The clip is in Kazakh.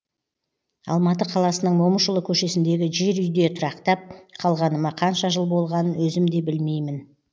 алматы қаласының момышұлы көшесіндегі жер үйде тұрақтап қалғаныма қанша жыл болғанын өзім де білмеймін